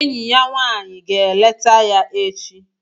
Enyi ya nwanyị ga-eleta ya echi